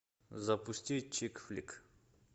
запусти чик флик